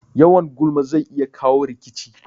Yawan gulma zai iya kawo rikici